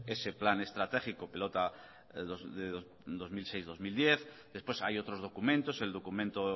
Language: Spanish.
ese plan estratégico pelota dos mil seis dos mil diez después hay otros documentos el documento